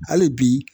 Hali bi